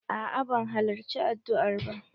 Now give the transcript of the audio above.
A'a ban halarci addua'r ba.